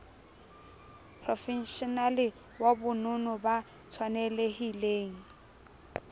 profeshenale wa bonono ba tshwanelhileng